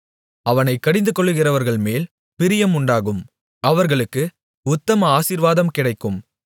அவனைக் கடிந்துகொள்ளுகிறவர்கள்மேல் பிரியம் உண்டாகும் அவர்களுக்கு உத்தம ஆசீர்வாதம் கிடைக்கும்